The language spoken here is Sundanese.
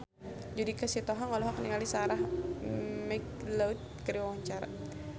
Judika Sitohang olohok ningali Sarah McLeod keur diwawancara